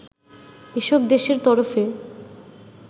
এসব দেশের তরফে